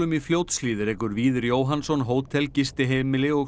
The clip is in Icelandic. í Fljótshlíð rekur Víðir Jóhannsson hótel gistiheimili og